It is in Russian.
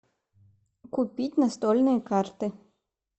купить настольные карты